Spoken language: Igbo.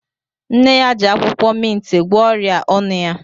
Nne ya ji akwụkwọ mintị gwọọ ọrịa ọnụ ya.